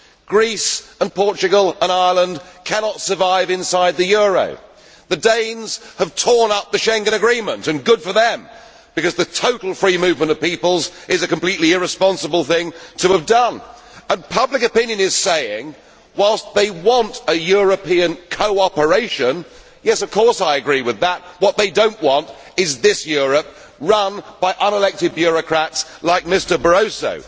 Greece, Portugal and Ireland cannot survive inside the euro. The Danes have torn up the Schengen agreement, and good for them, because the total free movement of peoples is a completely irresponsible thing to have done. Public opinion is saying that, whilst they want a European cooperation yes, of course I agree with that what they do not want is this Europe, run by unelected bureaucrats like Mr Barroso.